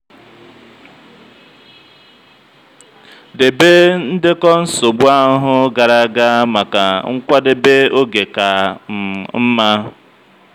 debe ndekọ nsogbu ahụhụ gara aga maka nkwadebe oge ka um mma.